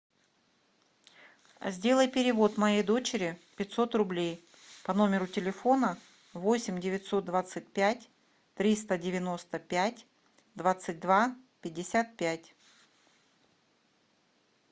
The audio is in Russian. сделай перевод моей дочери пятьсот рублей по номеру телефона восемь девятьсот двадцать пять триста девяносто пять двадцать два пятьдесят пять